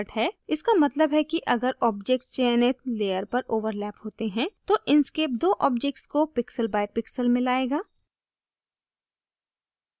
इसका मतलब है कि अगर objects चयनित layers पर overlap होते हैं तो inkscape दो objects को pixelbypixel मिलाएगा